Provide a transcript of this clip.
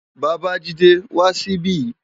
Babajide, wá si bi